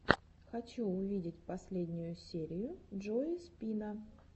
хочу увидеть последнюю серию джои спина